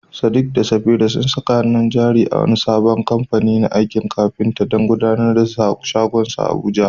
Sadiq da Safira sun saka hannun jari a wani sabon kamfani na aikin kafinta don gudanar da shagonsu a Abuja.